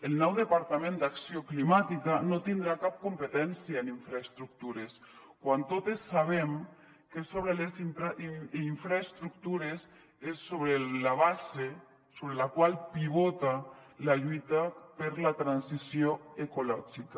el nou departament d’acció climàtica no tindrà cap competència en infraestructures quan totes sabem que sobre les infraestructures és la base sobre la qual pivota la lluita per la transició ecològica